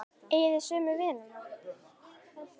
Eigið þið sömu vinina?